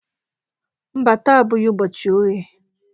Mba, taa abụghị ụbọchị oghe